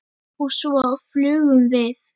Og svo flugum við.